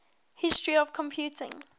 history of computing